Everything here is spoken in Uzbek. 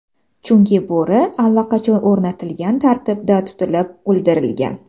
Chunki bo‘ri allaqachon o‘rnatilgan tartibda tutilib, o‘ldirilgan.